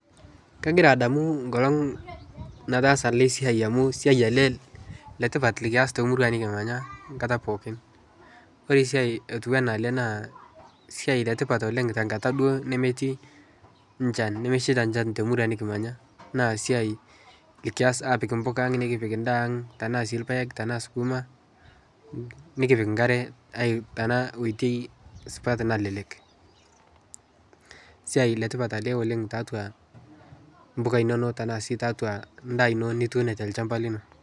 Kagira adamuu nkolong' nataasa ale siai amu siai alee letipat likias temurua nikimanya nkata pookin, kore siai otuwanaa alee naa siai letipat oleng' tankata duo nemetii nchan nemesheita nchan temurua nikimanyaa naa siai likiaz apik mpukaa ang' nikipik ndaa ang' tanaa sii lpaeg, tanaa skumaa, nikipik nkaree tanaa oitei supat nalelek. Siai letipat alee oleng' taatua mpukaa inonoo tanaa sii taatua ndaa inoo nituuno telshampa linoo.